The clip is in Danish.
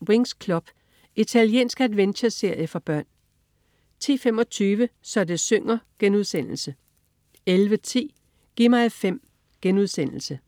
09.55 Winx Club. Italiensk adventureserie for børn 10.25 Så det synger* 11.10 Gi' mig 5*